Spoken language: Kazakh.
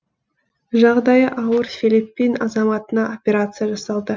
жағдайы ауыр филиппин азаматына операция жасалды